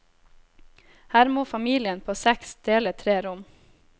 Her må familien på seks dele tre rom.